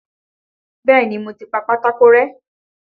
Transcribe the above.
Bẹ́ẹ̀ni, mo ti pa pátákó rẹ́.